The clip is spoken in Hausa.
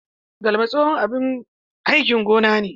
Galma tsohon abin aikin gona ne.